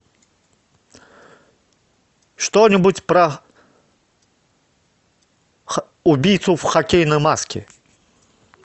что нибудь про убийцу в хоккейной маске